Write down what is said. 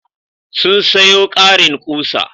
Sun sayo ƙarin ƙusa.